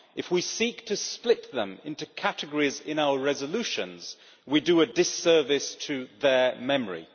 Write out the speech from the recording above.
If we seek to split them into categories in our resolutions, we do a disservice to their memory.